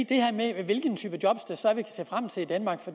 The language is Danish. det her med hvilken type job